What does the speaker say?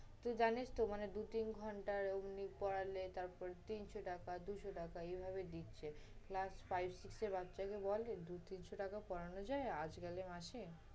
তুই জানিস তো, মানে দুই তিন ঘন্টা পড়ালে তারপর তিনশো টাকা দুইশ টাকা এভাবে দিচ্ছে। class five, six এর বাচ্চাকে বলে, দুই তিনশো টাকায় পড়ানো আজকালে মাসে?